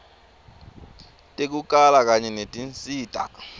tekukala kanye netinsita